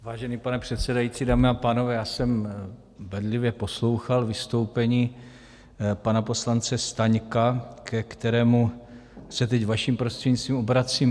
Vážený pane předsedající, dámy a pánové, já jsem bedlivě poslouchal vystoupení pana poslance Staňka, ke kterému se teď vaším prostřednictvím obracím.